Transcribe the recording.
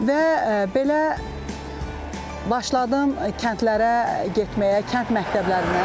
Və belə başladım kəndlərə getməyə, kənd məktəblərinə.